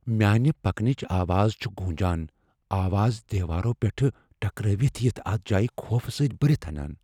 میانہِ پكنٕچ آواز چھِ گوٗنجان ، آواز دیوارو پیٹھہٕ ٹكرٲوِتھ یِتھ ، اتھ جایہ خوف سۭتۍ برِتھ انان ۔